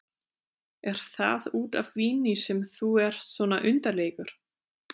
Er það út af víni sem þú ert svona undarlegur?